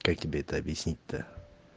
как тебе это объяснить то